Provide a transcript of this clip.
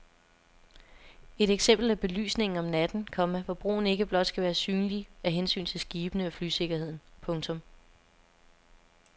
Et eksempel er belysningen om natten, komma hvor broen ikke blot skal være synlig af hensyn til skibene og flysikkerheden. punktum